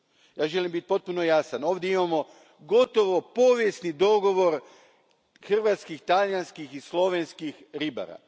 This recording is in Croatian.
Ja želim biti potpuno jasan ovdje imamo gotovo povijesni dogovor hrvatskih, talijanskih i slovenskih ribara.